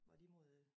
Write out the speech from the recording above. Var de mod øh